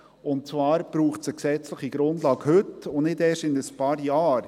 Und zwar braucht es heute eine gesetzliche Grundlage, nicht erst in ein paar Jahren.